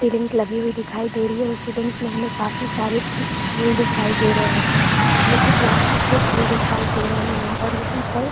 ceilings लगी हुई दिखाई दे रही है उस सीलिंग में हमें काफी सारी फूल दिखाई दे रही है जो की प्लास्टिक के फूल दिखाई दे रहै है और यहाँ पर --